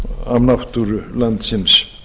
af náttúru landsins